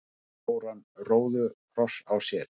stóran róðukross á sér.